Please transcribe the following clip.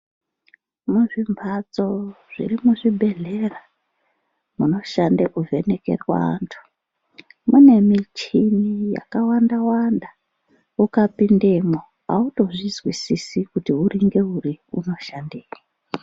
Muzvimhatso zviri muzvibhedhlera munoshanda kuvhenekerwe antu mune michini yakawanda wanda ukapindemwo autozvizwisisi kuti uri ngeuri unoshandei.